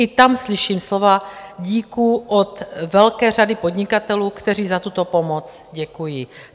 I tam slyším slova díků od velké řady podnikatelů, kteří za tuto pomoc děkují.